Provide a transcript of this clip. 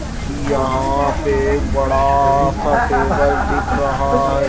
यहां पे एक बड़ा सा टेबल दिख रहा है।